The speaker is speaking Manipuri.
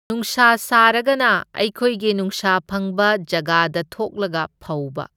ꯅꯨꯡꯁꯥ ꯁꯥꯔꯒꯅ ꯑꯩꯈꯣꯏꯒꯤ ꯅꯨꯡꯁꯥ ꯐꯪꯕ ꯖꯒꯥꯗ ꯊꯣꯛꯂꯒ ꯐꯧꯕ꯫